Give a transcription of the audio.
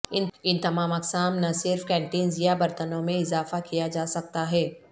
ان تمام اقسام نہ صرف کنٹینرز یا برتنوں میں اضافہ کیا جا سکتا ہے